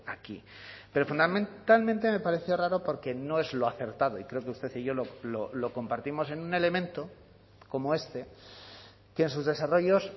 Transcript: aquí pero fundamentalmente me parece raro porque no es lo acertado y creo que usted y yo lo compartimos en un elemento como este que en sus desarrollos